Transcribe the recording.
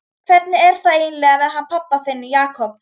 Hvernig er það eiginlega með hann pabba þinn, Jakob?